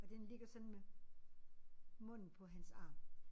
Og den ligger sådan med munden på hans arm